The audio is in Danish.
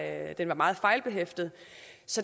at den var meget fejlbehæftet